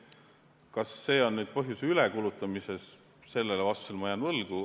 Kas see on ülekulutamise põhjus, sellele ma jään vastuse võlgu.